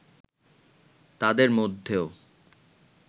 তাদের মধ্যেও